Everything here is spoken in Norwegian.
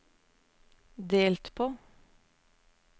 delt på